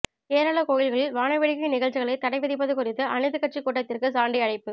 கேரள கோயில்களில் வாணவேடிக்கை நிகழ்ச்சிகளை தடை விதிப்பது குறித்து அனைத்து கட்சிக்கூட்டத்திற்கு சாண்டி அழைப்பு